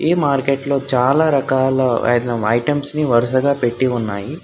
ఈ మార్కెట్లో చాలా రకాల ఐటమ్ ఐటమ్స్ ని వరుసగా పెట్టి ఉన్నాయి.